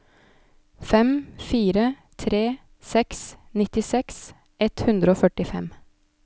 fem fire tre seks nittiseks ett hundre og førtifem